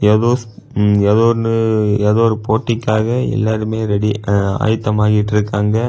ஏதோ ஏதோ ஒன்னு ஏதோ ஒரு போட்டிக்காக எல்லோருமே ரெடி ஆயத்தம் ஆயிட்டு இருக்காங்க.